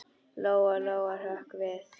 Lóa-Lóa hrökk við.